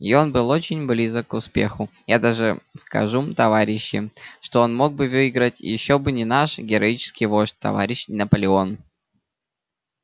и он был очень близок к успеху я даже скажу товарищи что он мог бы выиграть ещё бы не наш героический вождь товарищ наполеон